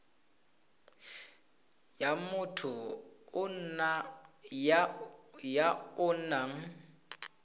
ya motho ya o nang